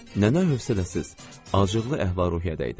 Nənə hövsələsiz, acıqlı əhval-ruhiyyədə idi.